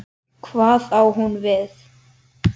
Hvað á hún við?